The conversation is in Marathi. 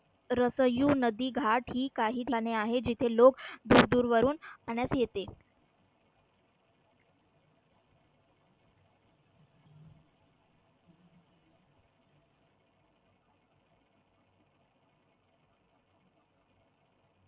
रसयु नदी घाट ही काही ठिकाणे आहे, जिथे लोक दूरदूर वरून पाहण्यास येते.